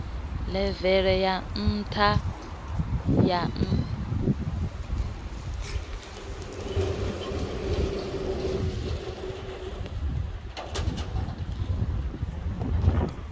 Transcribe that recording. ḽeve ḽe ya ya nṱha